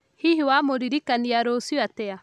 Hihi wamũririkania rũcio atĩa?